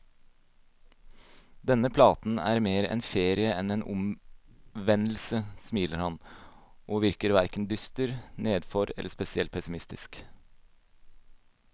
Denne platen er mer en ferie enn en omvendelse, smiler han, og virker hverken dyster, nedfor eller spesielt pessimistisk.